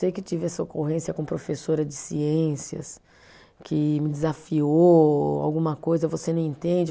Sei que tive essa ocorrência com professora de ciências, que me desafiou alguma coisa, você não entende.